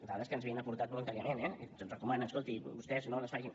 dades que ens havien aportat voluntàriament eh i se’ns recomana escolti vostès no les facin